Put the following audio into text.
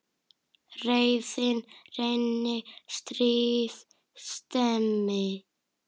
Reiðin renni, stríð stemmi.